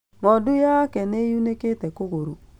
Ng'ondu yaake nĩyunĩkire kũgũrũ